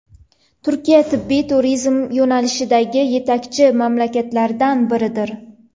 Turkiya – tibbiy turizm yo‘nalishidagi yetakchi mamlakatlardan biridir.